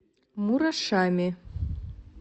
мурашами